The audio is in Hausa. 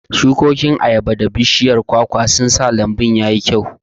Shukokin ayabar da bishiyar pawpaw sun sa lambu ya yi kyau.